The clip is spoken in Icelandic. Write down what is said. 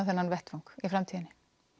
þennan vettvang í framtíðinni